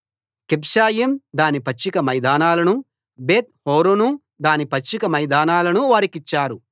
Kibzaim దాని పచ్చిక మైదానాలనూ బేత్‌ హోరోను దాని పచ్చిక మైదానాలనూ వారికిచ్చారు